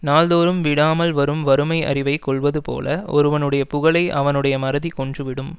நாள் தோறும் விடாமல் வரும் வறுமை அறிவைக் கொல்வது போல ஒருவனுடைய புகழை அவனுடைய மறதிக் கொன்று விடும்